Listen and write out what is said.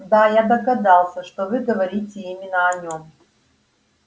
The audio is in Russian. да я догадался что вы говорите именно о нем